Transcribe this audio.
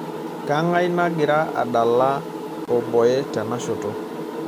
keng'ae nagira adala oboe tenashoto